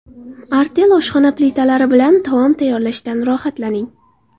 Artel oshxona plitalari bilan taom tayyorlashdan rohatlaning.